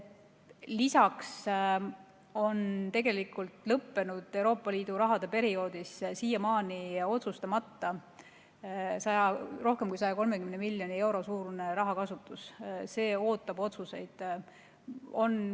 Lisaks on lõppenud perioodi Euroopa Liidu rahast siiamaani otsustamata rohkem kui 130 miljoni euro kasutus, see ootab otsuseid.